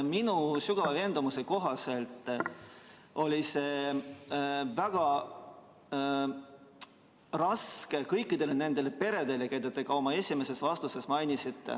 Minu sügava veendumuse kohaselt oli see väga raske kõikidele nendele peredele, keda te ühes oma vastuses mainisite.